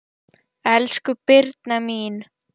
Elsku Birna mín.